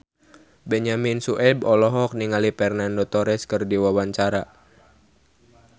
Benyamin Sueb olohok ningali Fernando Torres keur diwawancara